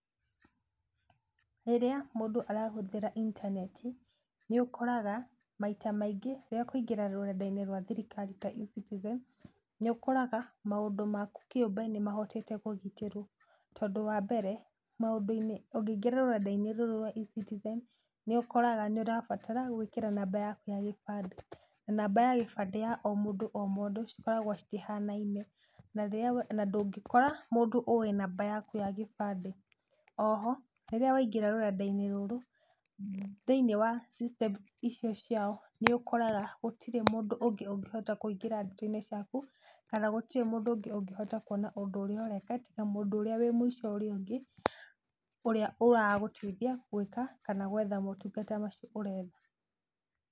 Rĩrĩa mũndũ arahũthĩra intaneti, nĩ ũkoraga maita maingĩ rĩrĩa ekũingĩra rũrenda-inĩ rwa thirikari ta E-citizen, nĩũkoraga maũndũ maku kĩũmbe nĩ mahotete kũgitĩrwo tondũ wa membere, maũndũ-inĩ, ũngĩingĩra rũrenda-inĩ rũrũ rwa E-citizen nĩũkoraga nĩ ũrabatara gũĩkĩra namba yaku ya gĩbandĩ. Na namba ya gĩbandĩ ya o mũndũ o mũndũ cikoragwo citihanaine na ndũngĩkora mũndũ ũĩ namba yaku ya gĩbandĩ. Oho, rĩrĩa waingĩra rũrenda-inĩ rũrũ, thĩiniĩ wa system icio ciao nĩ ũkoraga gũtirĩ mũndũ ũngĩ ũngĩhota kũingĩra ndeto-inĩ ciaku kana gũtirĩ mũndũ ũngĩ ũngĩhota kuona ũndũ ũrĩa ũreka, tiga mũndũ ũrĩa wĩ mũico ũrĩa ũngĩ ũrĩa ũragũteithia gũĩka kana gwetha motungata macio ũretha.